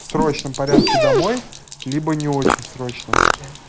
в срочном порядке домой либо не очень в срочном